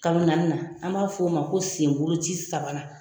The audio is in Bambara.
Kalo naani na an b'a f'o o ma ko senbolo ci sabanan.